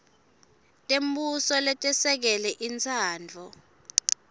tembuso letesekele intsandvo